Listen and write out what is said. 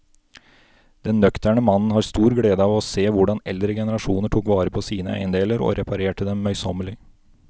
Den nøkterne mannen har stor glede av å se hvordan eldre generasjoner tok vare på sine eiendeler og reparerte dem møysommelig.